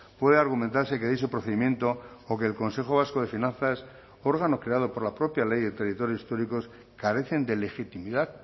puede argumentarse que dicho procedimiento o que el consejo vasco de finanzas órgano creado por la propia ley de territorios históricos carecen de legitimidad